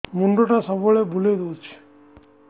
ମୁଣ୍ଡଟା ସବୁବେଳେ ବୁଲେଇ ଦଉଛି